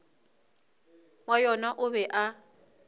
wa yona o be a